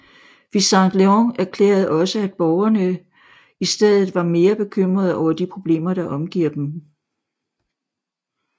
Vicente Leon erklærede også at borgerne i stedet var mere bekymrede over de problemer der omgiver dem